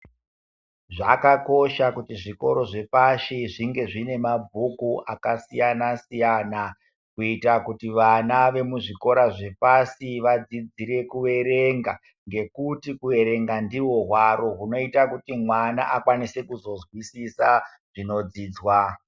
Zvaka kosha kuti zvikoro zve pashi zvinge zvine mabhuku aka siyana siyana kuitira kutu vana vemu zvikora zvepashi vadzidzire ku erenga ngekuti ku erenga ndiwo hwaro hunoita kuti mwana akwanise kuzo nzwisisa zvino dzidwa.